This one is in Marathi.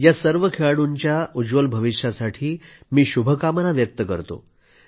या सर्व खेळाडूंना उज्ज्वल भविष्यासाठी मी शुभेच्छा देतो